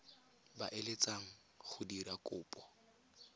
ba eletsang go dira kopo